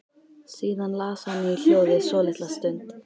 Síðan las hann í hljóði svolitla stund.